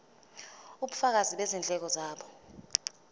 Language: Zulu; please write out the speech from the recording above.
ubufakazi bezindleko zabo